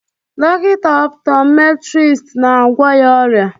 Dọkịta optometrist na-agwọ ya ọrịa